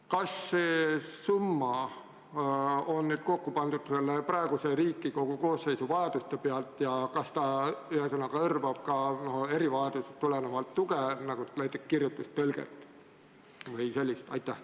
Kas see summa on kokku pandud praeguse Riigikogu koosseisu vajadusi arvestades ja kas see hõlmab ka erivajadusest tulenevat tuge nagu näiteks kirjutustõlge vms?